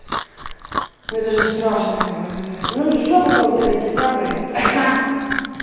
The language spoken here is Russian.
мне даже страшно ну жопа там у тебя легендарная епт аха